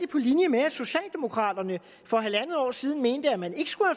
på linje med at socialdemokraterne for halvandet år siden mente at man ikke skulle